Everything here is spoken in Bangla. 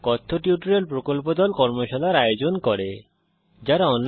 কথ্য টিউটোরিয়াল প্রকল্প দল কথ্য টিউটোরিয়াল ব্যবহার করে কর্মশালার আয়োজন করে